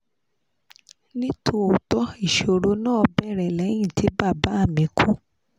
ní tòótọ́ ìṣòro náà bẹ̀rẹ̀ lẹ́yìn tí bàbá mi kú